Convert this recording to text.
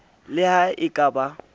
le ha e ka ba